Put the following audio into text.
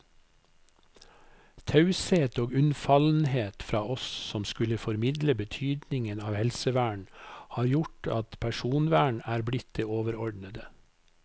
Taushet og unnfallenhet fra oss som skulle formidle betydningen av helsevern har gjort at personvern er blitt det overordnede.